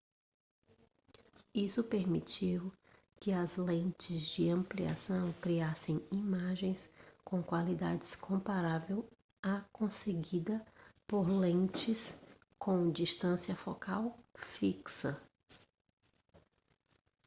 isso permitiu que as lentes de ampliação criassem imagens com qualidade comparável à conseguida por lentes com distância focal fixa